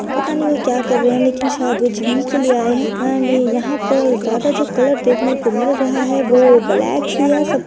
पता नहीं वो क्या कर रहे हैं लेकिन शायद वो जिम ही के लिए आए हैं एण्ड यहाँ पर ज्यादा जो कलर देखने को मिल रहा है वो ब्लैक ही है सब --